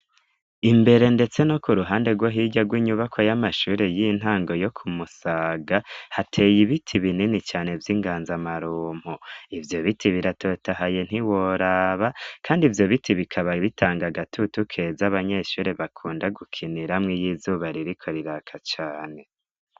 Imbere, ndetse no ku ruhande rwo hirya rw'inyubako y'amashuri y'intango yo kumusaga hateye ibiti binini cane vy'inganza amarumpo ivyo biti biratotahaye ntiworaba, kandi ivyo biti bikaba ibitanga gatutu keza abanyeshuri bakunda gukiniramwo iyizubaririko riraka cane.